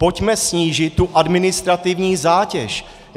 Pojďme snížit tu administrativní zátěž.